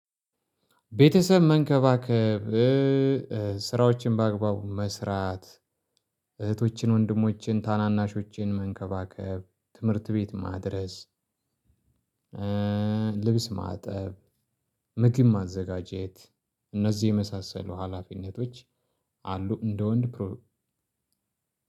ቤተሰብ መንከባከብ ስራዎችን በአግባቡ መስራት እህቶችን ወንድሞችን ታናናሾችን መንከባከብ ትምህርት ቤት ማድረስ። ልብስ ማጠብ ምግብ ማዘጋጀት እነዚህ የመሳሰሉ ሀላፊነቶች። አሉ እንደ ወንድ ፕሮ